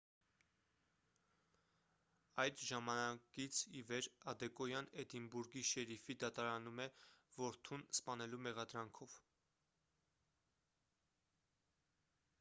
այդ ժամանակից ի վեր ադեկոյան էդինբուրգի շերիֆի դատարանում է որդուն սպանելու մեղադրանքով